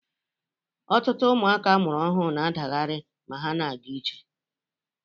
Ọtụtụ ụmụaka amụrụ ọhụrụ na-adaghari ma ha na-aga ije